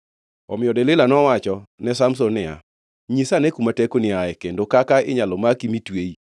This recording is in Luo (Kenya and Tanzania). Omiyo Delila nowachone Samson niya, “Nyisa ane kuma tekoni ae kendo kaka inyalo maki mi tweyi.”